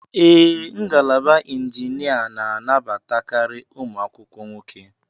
Ee, ngalaba injinia nabata karị ụmụ akwụkwọ nwoke.